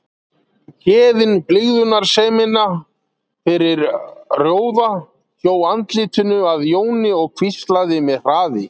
Héðinn blygðunarsemina fyrir róða, hjó andlitinu að Jóni og hvíslaði með hraði